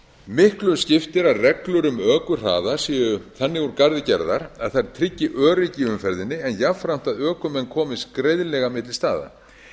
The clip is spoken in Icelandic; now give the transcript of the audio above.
miklu skiptir að reglur um ökuhraða séu þannig úr garði gerðar að þær tryggi öryggi í umferðinni en jafnframt að ökumenn komist greiðlega milli staða